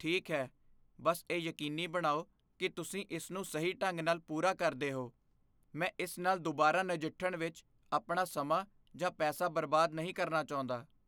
ਠੀਕ ਹੈ, ਬੱਸ ਇਹ ਯਕੀਨੀ ਬਣਾਓ ਕਿ ਤੁਸੀਂ ਇਸ ਨੂੰ ਸਹੀ ਢੰਗ ਨਾਲ ਪੂਰਾ ਕਰਦੇ ਹੋ। ਮੈਂ ਇਸ ਨਾਲ ਦੁਬਾਰਾ ਨਜਿੱਠਣ ਵਿੱਚ ਆਪਣਾ ਸਮਾਂ ਜਾਂ ਪੈਸਾ ਬਰਬਾਦ ਨਹੀਂ ਕਰਨਾ ਚਾਹੁੰਦਾ।